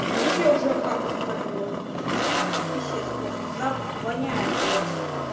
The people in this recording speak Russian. вдруг я уже хату спалила писец просто запах воняет блять